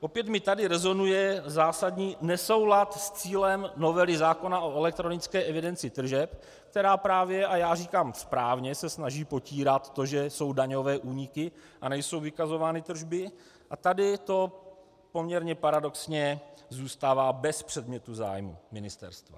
Opět mi tady rezonuje zásadní nesoulad s cílem novely zákona o elektronické evidenci tržeb, která právě - a já říkám správně - se snaží potírat to, že jsou daňové úniky a nejsou vykazovány tržby, a tady to poměrně paradoxně zůstává bez předmětu zájmu ministerstva.